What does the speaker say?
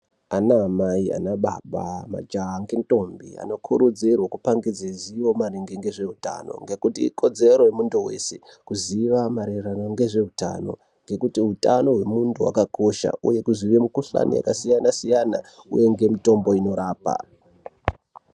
Ana mai, ana baba, majaha ngendombi anokurudzirwa kupangidza ziyo maringe nezveutano .Ngekuti ikodzero yemunhu weshe kuziya maererano ngezveutano nekuti utano hwemundu hwakakosha uye kuziya mikuhlani yakasiyana- siyana uye ngemitombo inorapa.